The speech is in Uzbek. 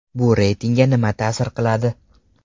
Bu reytingga nima ta’sir qiladi?